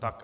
Tak.